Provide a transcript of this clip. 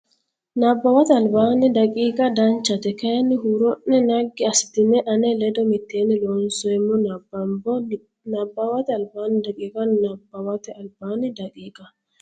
Nabbawate Albaanni daqiiqa Danchate kayiinni huuro ne naggi assitine ane ledo mitteenni Looseemmo nabbambbo Nabbawate Albaanni daqiiqa Nabbawate Albaanni daqiiqa.